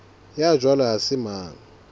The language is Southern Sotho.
ya jwalo ha se mang